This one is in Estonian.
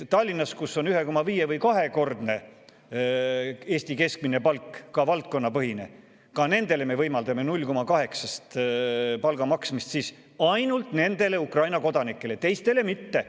Tallinnas, kus on 1,5- või kahekordne Eesti keskmine palk, ka valdkonnapõhine, me võimaldame samuti nendele 0,8 koefitsiendiga palka maksta – ainult nendele Ukraina kodanikele, teistele mitte.